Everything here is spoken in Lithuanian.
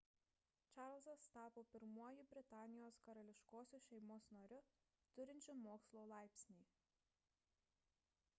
čarlzas tapo pirmuoju britanijos karališkosios šeimos nariu turinčiu mokslo laipsnį